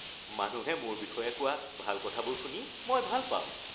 মানুহে মোৰ বিষয়ে কোৱা ভাল কথাবোৰ শুনি মই ভাল পাওঁ